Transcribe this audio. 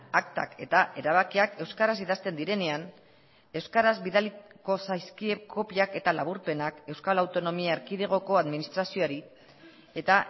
aktak eta erabakiak euskaraz idazten direnean euskaraz bidaliko zaizkie kopiak eta laburpenak euskal autonomia erkidegoko administrazioari eta